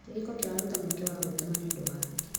Kĩhiko kĩraruta mweke wa gwĩtũma nĩ ũndũ wa angĩ.